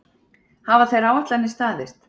Hafa þær áætlanir staðist?